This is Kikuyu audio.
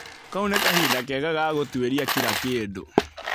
Kau nĩ kahinda kega ga gũtuĩria kira kĩndũ.